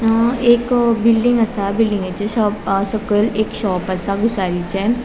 अ एक बिल्डिंग असा बिल्डिंगेच्या शो सकयल शॉप असा भूसारीचे.